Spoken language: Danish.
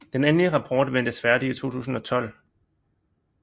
Den endelig rapport ventes færdig i 2012